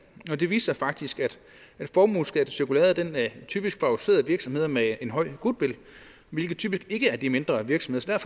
og det viste sig faktisk at formueskattecirkulæret typisk favoriserede virksomheder med en høj goodwill hvilket typisk ikke er de mindre virksomheder